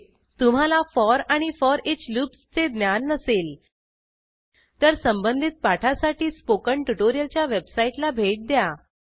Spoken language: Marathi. टीप तुम्हाला फोर आणि फोरिच लूप्सचे ज्ञान नसेल तर संबंधित पाठासाठी स्पोकन ट्युटोरियलच्या वेबसाईटला भेट द्या